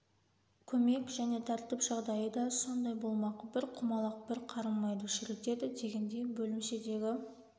көмек және тәртіп жағдайы да сондай болмақ бір құмалақ бір қарын майды шірітеді дегендей бөлімшедегі